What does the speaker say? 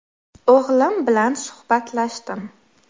O‘g‘lim bilan suhbatlashdim.